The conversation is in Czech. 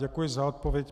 Děkuji za odpověď.